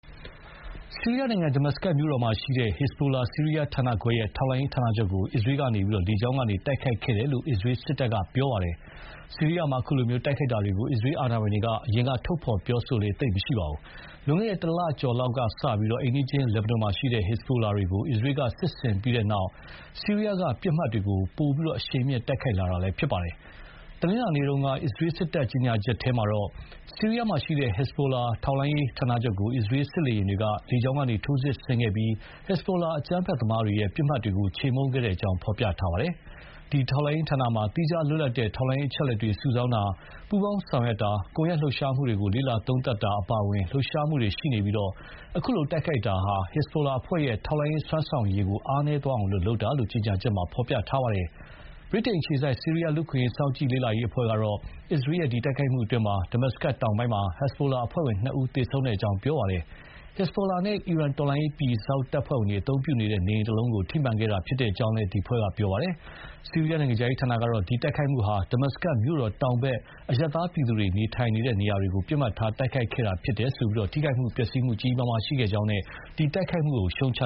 ဆီးရီးယားနိုင်ငံ Damascus မြို့တော်မှာရှိတဲ့ ဟက်ဇ်ဘိုလာ ဆီးရီးယားဌာနခွဲ ရဲ့ ထောက်လှမ်းရေးဌာနချုပ်ကို အစ္စရေးက လေကြောင်းကနေ တိုက်ခိုက်ခဲ့တယ်လို့ အစ္စရေးစစ်တပ်က ပြောပါတယ်။ ဆီးရီးယားမှာ အခုလို တိုက်ခိုက်တာတွေကို အစ္စရေး အာဏာပိုင်တွေက အရင်က ထုတ်ဖော် ပြောလေ့ သိပ်မရှိပါဘူး။ လွန်ခဲ့တဲ့ ၁ လကျော်လောက် ကစပြီး အိမ်နီးချင်း လက်ဘနွန်မှာရှိတဲ့ ဟက်ဇ်ဘိုလာတွေကို အစ္စရေးက စစ်ဆင်ခဲ့ပြီးတဲ့နောက် ဆီးရီးယားက ပစ်မှတ်တွေကိုလည်း ပိုပြီး အရှိန်မြှင့် တိုက်ခိုက်လာတာ ဖြစ်ပါတယ်။ တနင်္လာနေ့က အစ္စရေးစစ်တပ် ကြေညာချက်ထဲမှာတော့ − ဆီးရီးယားမှာရှိတဲ့ ဟက်ဇ်ဘိုလာ ထောက်လှမ်းရေး ဌာနချုပ်ကို အစ္စရေး စစ်လေယာဥ်တွေက လေကြောင်းကနေ ထိုးစစ်ဆင်ခဲ့ပြီး ဟက်ဇ်ဘိုလာ အကြမ်းဖက်သမားတွေရဲ့ ပစ်မှတ်တွေကို ချေမှုန်းခဲ့ကြောင်း ဖော်ပြပါတယ်။ ဒီထောက်လှမ်းရေးဌာနမှာ သီးခြားလွတ်လပ်တဲ့ ထောက်လှမ်းရေး အချက်အလက်တွေ စုဆောင်းတာ၊ ပူးပေါင်း ဆောင်ရွက်တာ၊ ကွန်ရက်လှုပ်ရှားမှုတွေကို လေ့လာသုံးသပ်တာ အပါအဝင် လှုပ်ရှားမှုတွေ ရှိနေပြီး အခုလို တိုက်ခိုက်တာဟာ ဟက်ဇ်ဘိုလာအဖွဲ့ရဲ့ ထောက်လှမ်းရေး စွမ်းဆောင်ရည်တွေကို အားနည်သွားအောင် လုပ်တာလို့ ကြေညာချက်မှာ ဖော်ပြပါတယ်။ ဗြိတိန်အခြေစိုက် ဆီးရီးယား လူ့အခွင့်အရေးစောင့်ကြည့် လေ့လာအဖွဲ့ ကတော့ အစ္စရေးရဲ့ ဒီတိုက်ခိုက်မှုအတွင်း Damacus တောင်ပိုင်းမှာ ဟက်ဇ်ဘိုလာ အဖွဲ့ဝင်နှစ်ဦး သေဆုံးခဲ့ကြောင်း ပြောပါတယ်။ ဟက်ဇ်ဘိုလာနဲ့ အီရန် တော်လှန်ရေး ပြည်စောင့်တပ်ဖွဲ့ဝင်တွေ အသုံးပြုနေတဲ့ နေအိမ်တလုံးကို ထိမှန်ခဲ့တာဖြစ်ကြောင်းလည်း ဒီအဖွဲ့က ပြောပါတယ်။ ဆီးရီးယား နိုင်ငံခြားရေးဌာနကတော့ ဒီတိုက်ခိုက်မှုဟာ Damacus မြို့တောင်ဘက် အရပ်သား ပြည်သူတွေ နေထိုင်နေတဲ့ နေရာတွေ ပစ်မှတ်ထား တိုက်ခိုက်ခဲ့တာဖြစ်ပြီး ထိခိုက် ပျက်စီးမှုတွေ ကြီးကြီးမားမား ရှိခဲ့ကြောင်းနဲ့ ဒီတိုက်ခိုက်မှုကို ရှုတ်ချ